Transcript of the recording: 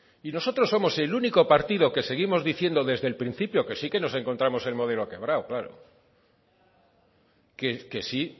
y nosotros somos el único partido que seguimos diciendo desde el principio que sí que nos encontramos el modelo quebrado claro que sí